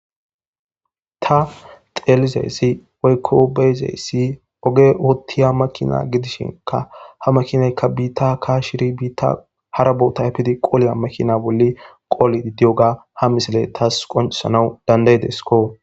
ta xeelizayssi oykko beyzeyssi oge oottiya makina gidishinka ha makinaykka biitta aka shiri biitta hara bo tayfidi qoleya makina bolli qooli diddiyoga ha misile taas qoncesanaw dandayidesiko